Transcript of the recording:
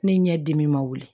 Ne ɲɛ dimi ma wuli